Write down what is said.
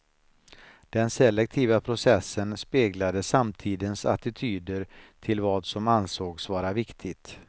Den selektiva processen speglade samtidens attityder till vad som ansågs vara viktigt.